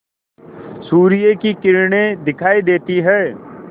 सूर्य की किरणें दिखाई देती हैं